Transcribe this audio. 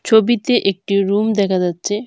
ছবিতে একটি রুম দেখা যাচ্ছে।